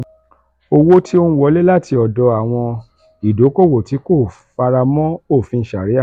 owo ti o nwole lati odo awon idokowo ti ko faramo ofin sharia.